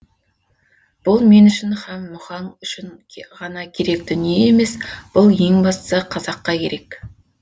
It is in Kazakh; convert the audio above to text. бұл мен үшін һәм мұхаң үшін ғана керек дүние емес бұл ең бастысы қазаққа керек